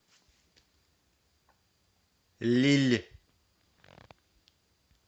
лилль